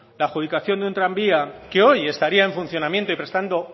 la adjudicación de un tranvía que hoy estaría en funcionamiento y prestando